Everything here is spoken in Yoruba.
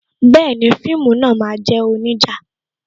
Bẹẹni, fíìmù náà máa jẹ́ onija